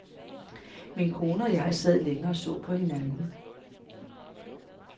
Min kone og jeg sad længe og så på hinanden.